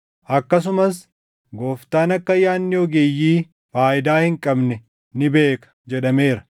Akkasumas, “Gooftaan akka yaadni ogeeyyii faayidaa hin qabne ni beeka” + 3:20 \+xt Far 94:11\+xt* jedhameera.